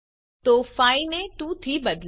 તો 5 ને 2 થી બદલો